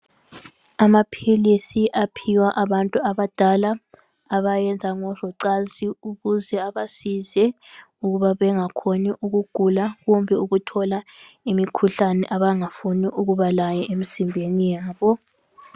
Amaphilisi aphiwa abantu abadala abayenza ngozocansi ukuze abasize ukuba bengakhoni ukugula kumbe ukuthola imikhuhlane abangafuni ukuba layo emizimbeni yabo .